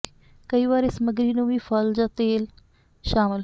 ਕਈ ਵਾਰ ਇਹ ਸਮੱਗਰੀ ਨੂੰ ਵੀ ਫਲ ਜ ਤੇਲ ਸ਼ਾਮਿਲ